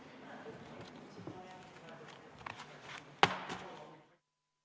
Istungi lõpp kell 18.56.